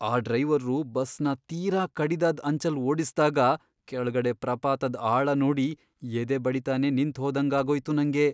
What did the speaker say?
ಆ ಡ್ರೈವರ್ರು ಬಸ್ನ ತೀರಾ ಕಡಿದಾದ್ ಅಂಚಲ್ ಓಡಿಸ್ದಾಗ ಕೆಳ್ಗಡೆ ಪ್ರಪಾತದ್ ಆಳ ನೋಡಿ ಎದೆ ಬಡಿತನೇ ನಿಂತ್ಹೋದಂಗಾಗೋಯ್ತು ನಂಗೆ.